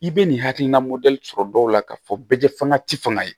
I bɛ nin hakilina mɔdɛli sɔrɔ dɔw la ka fɔ bɛɛ fanga ti fanga ye